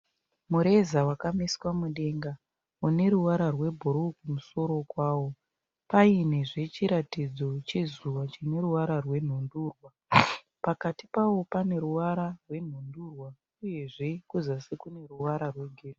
Mureza wakamiswa mudenga uneruvara rwebhuruwu kumusoro kwawo. Painezve chiratidzo chezuva chineruvara rwebhuruwu. Pakati pawo paneruvara rwenhundurwa uyezve kuzasi kwawo kune ruvara rwegirinhi.